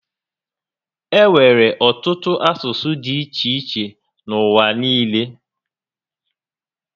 E nwere ọtụtụ asụsụ dị iche iche n'ụwa niile